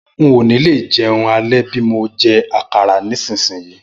N ò ní lè jẹun alẹ́ bí mo jẹ àkàrà nísinsìnyí